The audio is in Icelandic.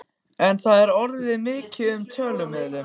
En það er ekki orðið mikið um töðuilm.